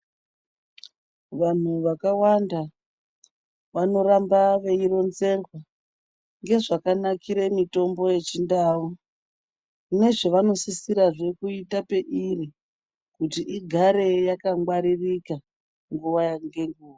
Vantu vakawanda vanoramba veironzerwa ngezvakanakira mitombo yechindau. Nezvavanosisirazve kuita peiri kuti igare yakangwaririka nguva ngenguva.